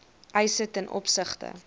eise ten opsigte